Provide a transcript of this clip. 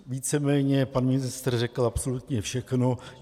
Víceméně pan ministr řekl absolutně všechno.